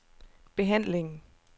behandlingen